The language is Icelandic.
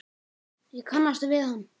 Ég kannast við hann.